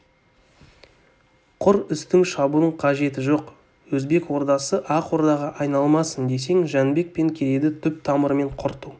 құр үстін шабудың қажеті жоқ өзбек ордасы ақ ордаға айналмасын десең жәнібек пен керейді түп-тамырымен құрту